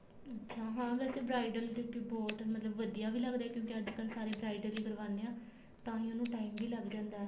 ਅੱਛਾ ਹਾਂ ਵੈਸੇ bridal ਕਿਉਂਕਿ ਬਹੁਤ ਮਤਲਬ ਵਧੀਆ ਵੀ ਲੱਗਦਾ ਏ ਕਿਉਂਕਿ ਅੱਜਕਲ ਸਾਰੇ bridal ਹੀ ਕਰਵਾਨੇ ਹਾਂ ਤਾਹੀ ਉਹਨੂੰ time ਵੀ ਲੱਗ ਜਾਂਦਾ ਏ